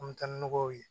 An bɛ taa ni nɔgɔw ye